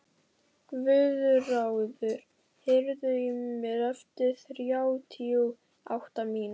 Guðráður, heyrðu í mér eftir þrjátíu og átta mínútur.